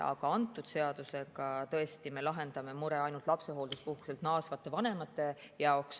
Aga antud seadusega, tõesti, me lahendame ainult lapsehoolduspuhkuselt naasvate vanemate mure.